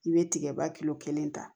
I bɛ tigɛba kilo kelen ta